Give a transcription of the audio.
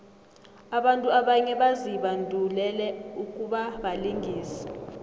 abantu abanye bazibandulele ukubabalingisi